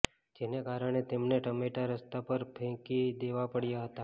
જેને કારણે તેમણે ટામેટા રસ્તા પર ફેંકી દેવા પડ્યા હતા